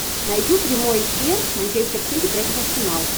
найди прямой эфир манчестер сити против арсенал